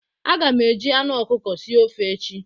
Aga m e ji anụ ọkụkọ sie ofe echi.